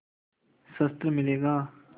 शस्त्र मिलेगा